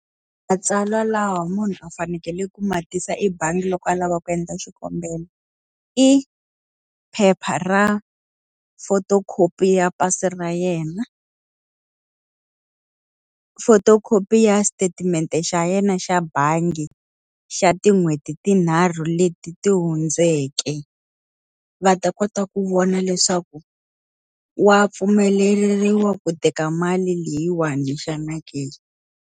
Matsalwa lawa munhu a fanekeleke ku ma tisa ebangi loko a lava ku endla swikombelo i phepha ra photo copy ya pasi ra yena photo copy ya statement-e xa yena xa bangi xa tin'hweti tinharhu leti ti hundzeke. Va ta kota ku vona leswaku wa pfumeleriwa ku teka mali leyiwani xana ke.